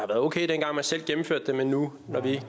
okay dengang man selv gennemførte dem men nu når vi